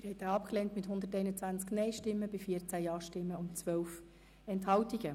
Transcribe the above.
Sie haben den Eventualantrag abgelehnt mit 121 Nein- gegen 14 Ja-Stimmen bei 12 Enthaltungen.